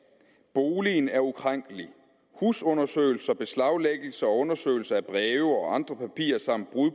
boligen er ukrænkelig husundersøgelser beslaglæggelse og undersøgelse af breve og andre papirer samt brud